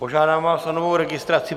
Požádám vás o novou registraci.